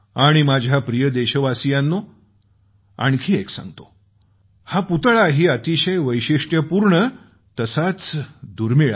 माझ्या प्रिय देशवासियांनो आणखी एक सांगतो हा पुतळाही अतिशय वैशिष्ट्यपूर्ण तसाच दुर्मिळ आहे